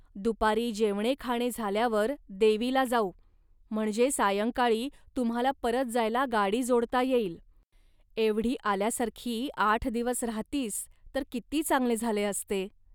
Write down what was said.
दुपारी जेवणेखाणे झाल्यावर देवीला जाऊ, म्हणजे सायंकाळी तुम्हांला परत जायला गाडी जोडता येईल. एवढी आल्यासारखी आठ दिवस राहतीस, तर किती चांगले झाले असते